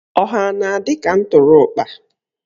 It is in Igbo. Ọha a na-adị ka ụtụrụkpa?